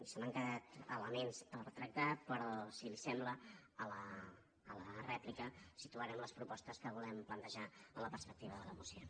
m’han quedat elements per tractar però si li sembla a la rèplica situarem les propostes que volem plantejar en la perspectiva de la moció